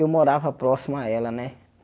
Eu morava próximo a ela, né?